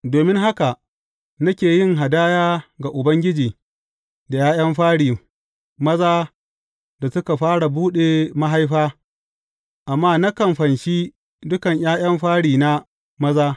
Domin haka nake yin hadaya ga Ubangiji da ’ya’yan fari, maza, da suka fara buɗe mahaifa, amma nakan fanshi dukan ’ya’yan farina maza.’